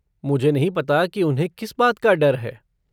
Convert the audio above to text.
मुझे नहीं पता कि उन्हें किस बात का डर है।